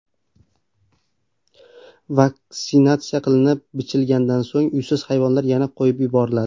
Vaksinatsiya qilinib, bichilgandan so‘ng uysiz hayvonlar yana qo‘yib yuboriladi.